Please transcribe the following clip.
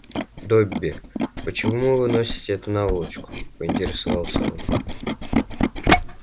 добби почему вы носите эту наволочку поинтересовался он